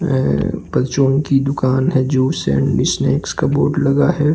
यह की दुकान है जूस एंड स्नेक्स का बोर्ड लगा हुआ है।